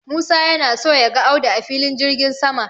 Musa yana so ya ga Audu a Filin jirgin sama.